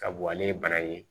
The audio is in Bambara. Ka bɔ ale ye bana ye